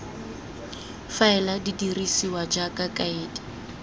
faele di dirisiwa jaaka kaedi